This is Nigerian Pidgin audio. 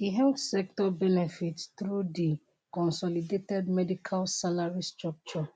di health sector benefit through di consolidated medical salary structure